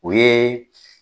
O ye